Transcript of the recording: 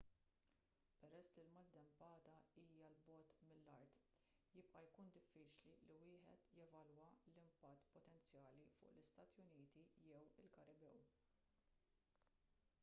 peress li l-maltempata hija l bogħod mill-art jibqa' jkun diffiċli li wieħed jevalwa l-impatt potenzjali fuq l-istati uniti jew il-karibew